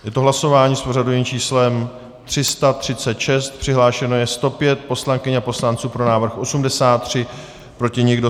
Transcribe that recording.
Je to hlasování s pořadovým číslem 336, přihlášeno je 105 poslankyň a poslanců, pro návrh 83, proti nikdo.